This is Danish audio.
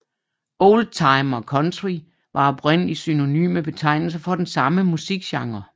Oldtime og country var oprindelig synonyme betegnelser for den samme musikgenre